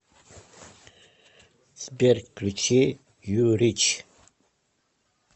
сбер включи ю рич